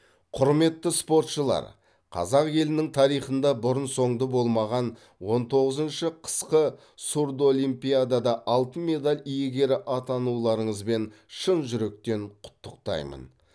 құрметті спортшылар қазақ елінің тарихында бұрын соңды болмаған он тоғызыншы қысқы сурдолимпиадада алтын медаль иегері атануларыңызбен шын жүректен құттықтаймын